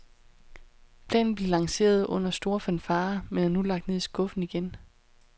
Planen blev lanceret under store fanfarer, men er nu lagt ned i skuffen igen.